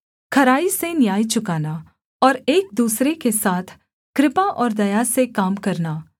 खराई से न्याय चुकाना और एक दूसरे के साथ कृपा और दया से काम करना